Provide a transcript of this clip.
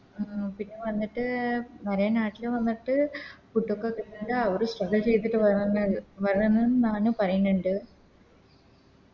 ഉം പിന്നെ കൊറേ നാട്ടില് വന്നിട്ട് Food ഒക്കെ തിന്നിട്ട് ഒരു അവര് Strugle ചെയ്തിട്ട് വരണ വരണംന്നാണ് പറയ്ന്ന്ണ്ട്